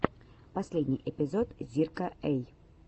последний эпизод зирка эй